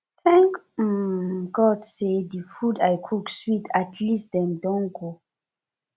thank um god say the the food i cook sweet at least dem don go